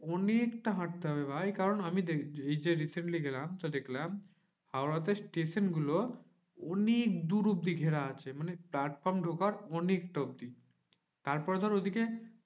অনেক তা হাঁটতে হবে ভাই কারণ আমি এই যে recently গেলাম তো দেখলাম, হাওড়া তে স্টেশন গুলো অনেক দূর অব্দি ঘেরা আছে। মানে platform ঢোকার অনেকটা অব্দি। তারপরে ধর ওইদিকে